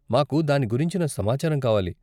మాకు దాని గురించిన సమాచారం కావాలి.